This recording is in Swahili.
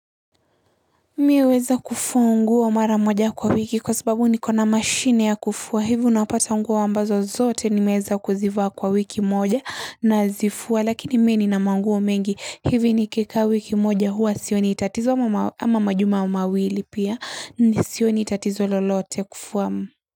Mimi huweza kufua nguo mara moja kwa wiki kwa sababu nikona mashine ya kufuwa hivyo unapata nguo ambazo zote nimeweza kuzivaa kwa wiki moja na zifua lakini mimi nina manguo mengi hivu ni kika wiki moja huwa sio ni itatizo ama majuma mawili pia ni sio ni itatizo lolote kufuwa.